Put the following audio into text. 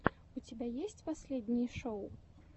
у тебя есть последние шоу